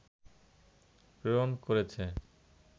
প্রেরণ করেছে